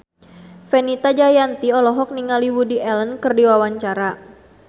Fenita Jayanti olohok ningali Woody Allen keur diwawancara